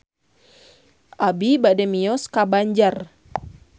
Abi bade mios ka Banjar